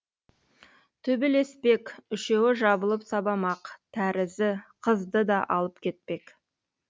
төбелеспек үшеуі жабылып сабамақ тәрізі қызды да алып кетпек